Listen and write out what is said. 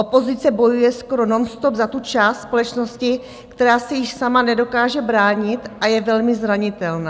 Opozice bojuje skoro nonstop za tu část společnosti, která se již sama nedokáže bránit a je velmi zranitelná.